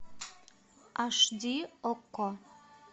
аш ди окко